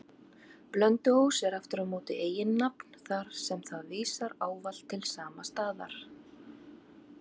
Blönduós er aftur á móti eiginnafn, þar sem það vísar ávallt til sama staðar.